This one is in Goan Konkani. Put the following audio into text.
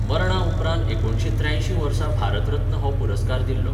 मरणा उपरांत एकुणीशें त्र्यांशीं वर्सा भारत रत्न हो पुरस्कार दिल्लो.